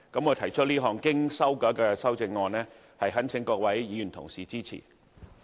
我提出這項經修改的修正案，懇請各位議員支持。